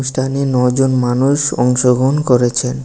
অনুষ্ঠানে ন'জন মানুষ অংশগ্রহণ করেছেন।